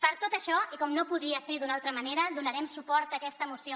per tot això i com no podia ser d’una altra manera donarem suport a aquesta moció